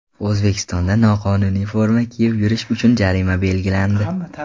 O‘zbekistonda noqonuniy forma kiyib yurish uchun jarima belgilandi.